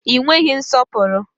Ị nweghị nsọpụrụ!